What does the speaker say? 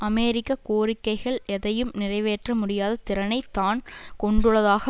அமெரிக்க கோரிக்கைகள் எதையும் நிறைவேற்ற முடியாத திறனைத் தான் கொண்டுள்ளதாக